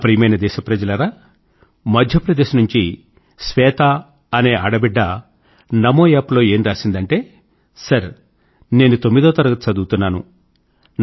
నా ప్రియమైన దేశ ప్రజలారా మధ్య ప్రదేశ్ నుండి శ్వేత అనే ఆడబిడ్డ నమో యాప్ లో ఏం రాసిందంటే సర్ నేను తొమ్మిదవ తరగతి చదువుతున్నాను